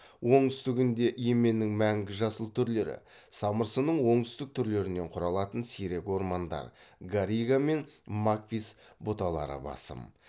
оңтүстігінде еменнің мәңгі жасыл түрлері самырсынның оңтүстік түрлерінен құралатын сирек ормандар гарига мен маквис бұталары басым